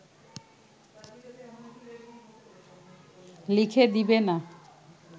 লিখে দেবে না